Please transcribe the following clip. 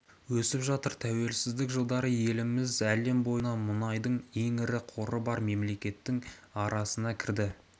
өсіп жатыр тәуелсіздік жылдары еліміз әлем бойына мұнайдың ең ірі қоры бар мемлекеттің арасына кірді